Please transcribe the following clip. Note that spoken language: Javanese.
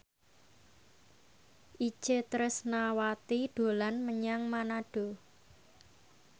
Itje Tresnawati dolan menyang Manado